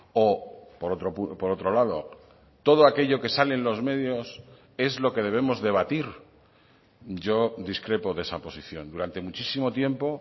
o por otro lado todo aquello que sale en los medios es lo que debemos debatir yo discrepo de esa posición durante muchísimo tiempo